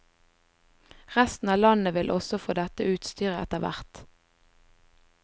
Resten av landet vil også få dette utstyret etterhvert.